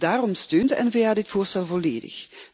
Daarom steunt de N VA dit voorstel volledig.